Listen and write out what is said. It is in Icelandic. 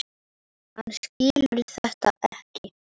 Hann skilur þetta ekki.